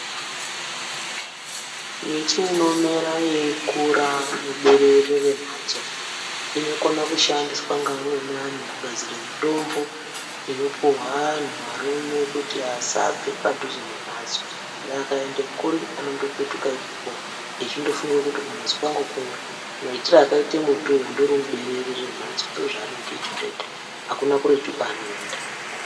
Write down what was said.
Miti inomera yeikura muberere rematso inokona kushandiswa neamweni antu kugadzira mitombo inopuwa vantu varume kuti vasabve padhuze nematso akaenda kuri anopetuka ipapo eindofunga kuti kumatso kwangu kuya maitiro akaita mutiwo uri muberere rematso ndizvo zvaanenge achitoita hakuna kuretu kwaanoenda.